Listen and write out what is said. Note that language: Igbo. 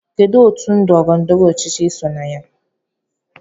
Kedụ otú ndọrọ ndọrọ ọchịchị iso na ya?